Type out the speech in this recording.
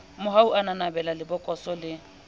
mohau a nanabela lebokoso le